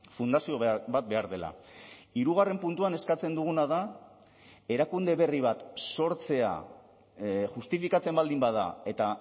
fundazio bat behar dela hirugarren puntuan eskatzen duguna da erakunde berri bat sortzea justifikatzen baldin bada eta